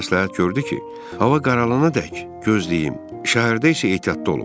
O mənə məsləhət gördü ki, hava qaralana dək gözləyim, şəhərdə isə ehtiyatlı olum.